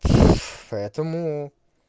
поэтому